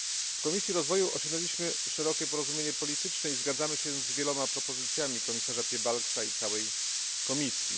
W Komisji Rozwoju osiągnęliśmy szerokie porozumienie polityczne i zgadzamy się z wieloma propozycjami komisarza Piebalgsa i całej Komisji.